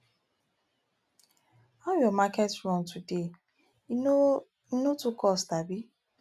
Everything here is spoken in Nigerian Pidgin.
how your market run today e no e no too cost abi